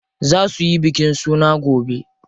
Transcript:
Za suyi bikin suna gobe.